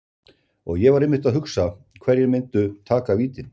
Og ég var einmitt að hugsa, hverjir myndu taka vítin?